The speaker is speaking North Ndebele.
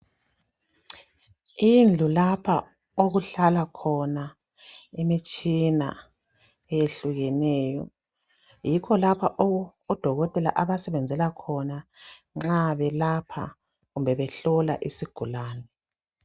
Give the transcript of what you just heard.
Indlu lapha okuhlala khona imitshina eyehlukeneyo yikho lapha odokotela abasebenzela khona nxa belapha kumbe behlola isigulane.